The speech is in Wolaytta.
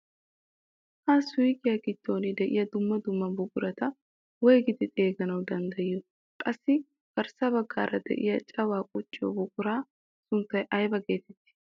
Ha suuyqiyaa giddon de'iyaa dumma dumma buqarata woygidi xeeganawu danddayiyoo? Qassi garssa baggaara de'iyaa cawaa qucciyoo buquraa sunttay aybe getettii?